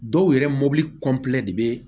Dɔw yɛrɛ mɔbili kɔnpilɛ de be